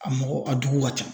A mɔgɔ a dugu ka ca.